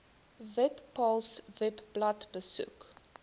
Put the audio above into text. webpals webblad besoek